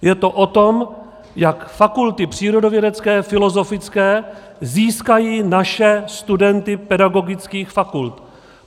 Je to o tom, jak fakulty přírodovědecké, filozofické, získají naše studenty pedagogických fakult.